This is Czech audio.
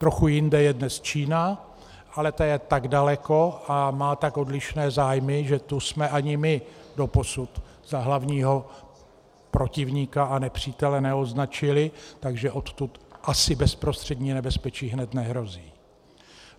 Trochu jinde je dnes Čína, ale ta je tak daleko a má tak odlišné zájmy, že tu jsme ani my doposud za hlavního protivníka a nepřítele neoznačili, takže odtud asi bezprostřední nebezpečí hned nehrozí.